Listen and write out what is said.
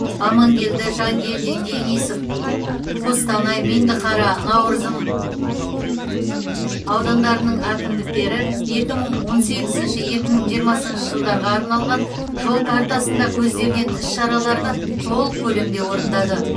амангелді жангелдин денисов қостанай меңдіқара науырзым аудандарының әкімдіктері екі мың он сегізінші екі мың жиырмасыншы жылдарға арналған жол картасында көзделген іс шараларды толық көлемде орындады